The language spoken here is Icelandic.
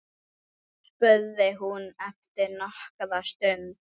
spurði hún eftir nokkra stund.